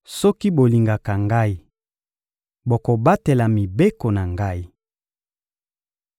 Soki bolingaka Ngai, bokobatela mibeko na Ngai.